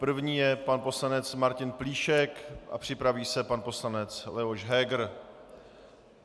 První je pan poslanec Martin Plíšek a připraví se pan poslanec Leoš Heger.